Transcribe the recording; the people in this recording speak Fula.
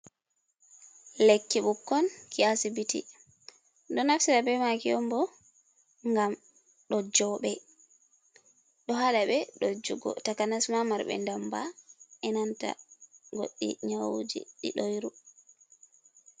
Lekki ɓukkon ki asibiti ɗo naftira be maki onbo gam ɗo joɓe, ɗo haɗa ɓe ɗo jugo, takanasma marɓe damba enanta goɗɗi nyawuji ɗi ɗoyru.